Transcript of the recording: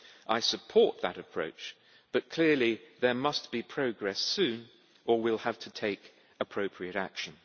I support that approach, but clearly there must be progress soon or we will have to take appropriate action.